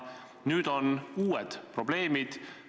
Nüüd on uued probleemid.